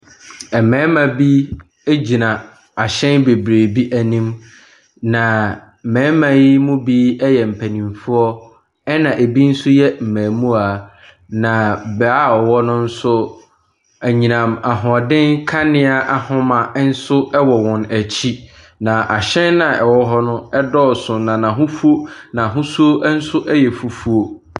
Mmarima bi gyina ahyɛn bebree bi anim, na mmarima yi mu bi yɛ mpanimfoɔ, ɛnna ebi nso yɛ mmaamua, na beaeɛ a wɔwɔ no nso, anyinam ahoɔden kanea ahoma nso wɔ wɔn akyi, na ahyɛn a ɛwɔ hɔ no dɔɔso, na n'ahosuo n'ahosuo nso yɛ fufuo.